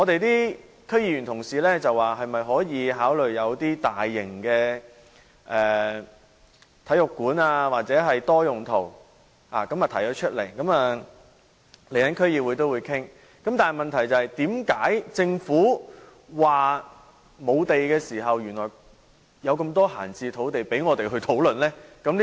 有區議員提出可否考慮在那裏興建大型體育館或多用途大樓，區議會稍後會繼續討論，但問題是，為何政府經常說沒有土地，原來仍有這麼多閒置土地供我們討論？